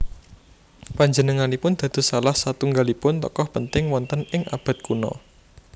Panjenenganipun dados salah satunggalipun tokoh penting wonten ing abad kuno